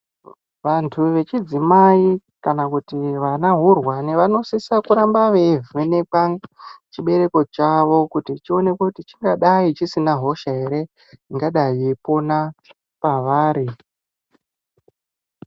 Vantu vechidzimai kana kuti vanahurwani, vanosisa kuramba veivhenekwa chibereko chavo, kuti chionekwe kuti chingadai chisina hosha here ,ingadai yeipona pavari.